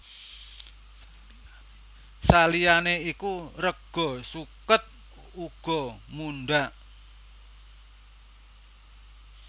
Saliyané iku rega suket uga mundhak